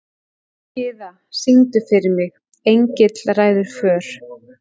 Gyða, syngdu fyrir mig „Engill ræður för“.